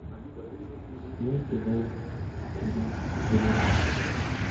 седьмой сезон кино древние